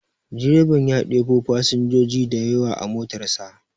Direban ya ɗebo fasinjoji dayawa a motar sa.